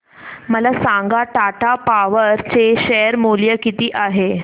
मला सांगा टाटा पॉवर चे शेअर मूल्य किती आहे